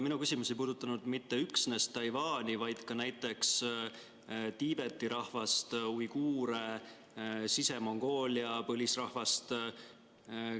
Mu küsimus ei puudutanud mitte üksnes Taiwani, vaid ka näiteks Tiibeti rahvast, uiguure, Sise-Mongoolia põlisrahvast.